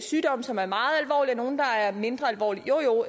sygdomme som er meget og nogle der er mindre alvorlige jo jo